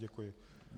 Děkuji.